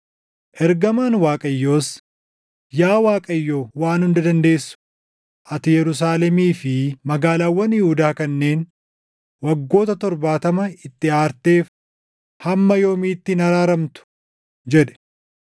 Ergamaan Waaqayyoos, “Yaa Waaqayyo Waan Hunda Dandeessu, ati Yerusaalemii fi magaalaawwan Yihuudaa kanneen waggoota torbaatama itti aarteef hamma yoomiitti hin araaramtu?” jedhe.